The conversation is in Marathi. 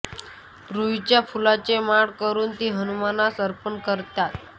रुईच्या फुलांची माळ करून ती हनुमानास अर्पण करतात